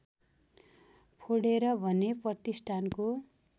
फोडेर भने प्रतिष्ठानको